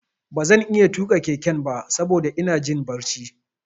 Ba zan iya tuƙa keken ba saboda ina jin barci.